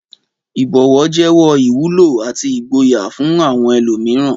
Ìbọ̀wọ̀ jẹ́wọ́ ìwúlò àti ìgboyà fún àwọn ẹlòmíràn.